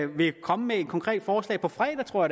vil komme med et konkret forslag på fredag tror